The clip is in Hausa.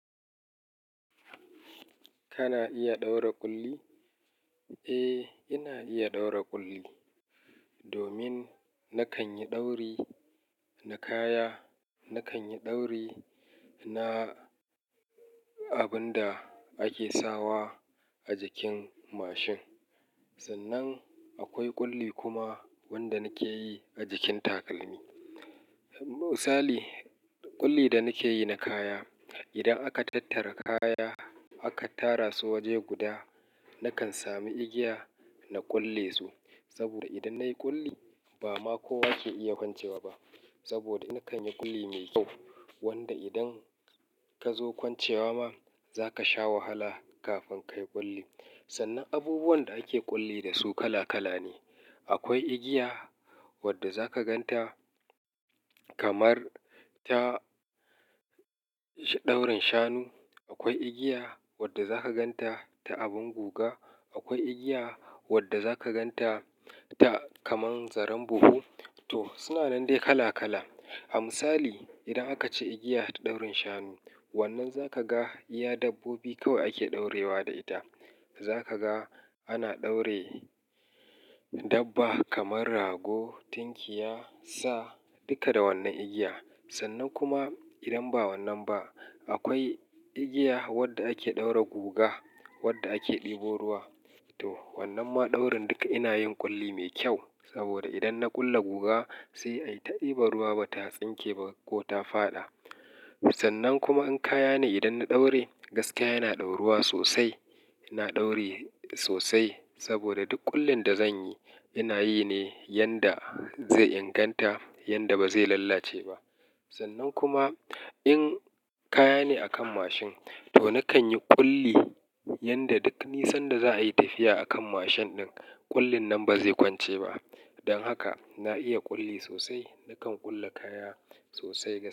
Kana iya ɗaura ƙulli? Eh, ina iya ɗaura ƙulli. Domin na kan yi ɗauri na kaya, na kan yi ɗauri na abun da ake sawa a jikin mashin. Sannan akwai ƙulli kuma wanda nake yi a jikin takalmi. Misali, ƙulli da nake yi na kaya. Idan aka tattara kaya aka tara su waje guda, na kan sami igiya na kulle su. Saboda idan na yi ƙulli ba ma kowa ke iya kwancewa ba. Saboda na kan yi ƙulli mai kyau wanda idan ka zo kwancewa ma, za ka sha wahala kafin ka yi ƙulli. Sannan abubuwan da ake ƙulli da su kala kala ne. Akwai igiya wadda za ka gan ta kamar ta, daurin shanu. Akwai igiya wadda za ka gan ta ta abin guga. Akwai igiya wadda za ka gan ta ta kamar zaren buhu. To suna nan dai kala kala. A misali, idan aka ci igiya ta daurin shanu, wannan za ka ga iya dabbobi kawai ake ɗaurewa da ita. Za ka ga ana ɗaure dabba kamar rago, tinkiya, sa. Duka da wannan igiya. Sannan kuma idan ba wannan ba, akwai igiya wadda ake ɗaura guga, wadda ake ɗebo ruwa. To wannan ma daurin duka ina yin ƙulli mai kyau. Saboda idan na ƙulle guga sai ai ta ɗiban ruwa ba ta tsinke ba ko ta faɗa. Sannan kuma in kaya ne idan na ɗauri, gaskiya yana ɗauruwa sosai. Ina ɗauri sosai saboda duk kullin da zan yi ina yi ne yanda zai inganta, yanda ba zai lalace ba. Sannan kuma in kaya ne a kan mashin to na kan yi ƙulli yanda duk nisan da za a yi tafiya a kan mashin ɗin, ƙullin nan ba zai kwance ba. Don haka na iya ƙulli sosai. Na kan ƙulle kaya sosai.